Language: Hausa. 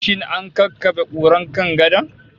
Shin an kakkabe kurar kan gadon?